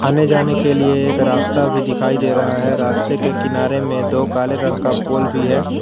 आने जाने के लिए एक रास्ता भी दिखाई दे रहा है रास्ते के किनारे में दो काले रंग का पोल भी है।